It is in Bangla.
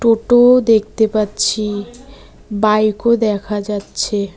টোটোও দেখতে পাচ্ছি বাইকও দেখা যাচ্ছে।